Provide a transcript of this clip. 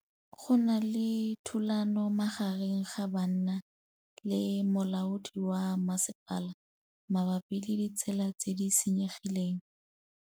Go na le thulanô magareng ga banna le molaodi wa masepala mabapi le ditsela tse di senyegileng.